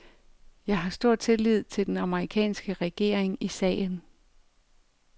Jeg har stor tillid til den amerikanske regering i sagen.